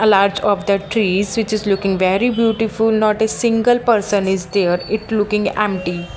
a larch of the trees which is looking very beautiful not a single person is there it looking empty .